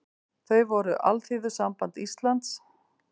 Þau voru Alþýðusamband Íslands